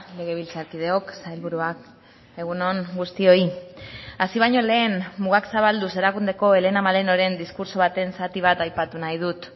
legebiltzarkideok sailburuak egun on guztioi hasi baino lehen mugak zabalduz erakundeko helena malenoren diskurtso baten zati bat aipatu nahi dut